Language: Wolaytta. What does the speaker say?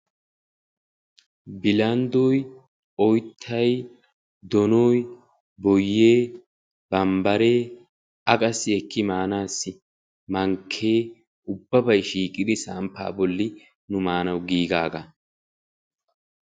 bilanddoy, oyittay, donoy, boyye, bambbare, a qassi ekki maanaassi mankke ubbabay shiiqidi samppa bolli nu maanawu giigaaga.